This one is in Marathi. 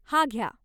हा घ्या.